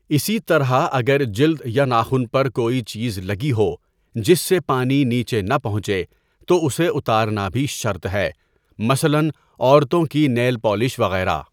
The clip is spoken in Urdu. اسى طرح اگر جلد يا ناخن پر كوئى چيز لگى ہو جس سے پانی نیچے نہ پہنچے تو اسے اتارنا بھی شرط ہے، مثلا عورتوں کی نیل پالش وغیرہ.